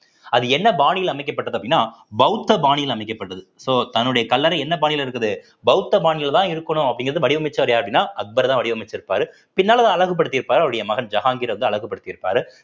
அது என்ன பாணியில் அமைக்கப்பட்டது அப்படின்னா பௌத்த பாணியில் அமைக்கப்பட்டது so தன்னுடைய கல்லறை என்ன பாணியில இருக்குது பௌத்த பாணியிலதான் இருக்கணும் அப்படிங்கிறத வடிவமைச்சவர யாரு அப்படின்னா அக்பர்தான் வடிவமைச்சிருப்பாரு பின்னால அத அழகுபடுத்தி இருப்பாரு அவருடைய மகன் ஜஹாங்கிர் வந்து அழகுபடுத்தி இருப்பாரு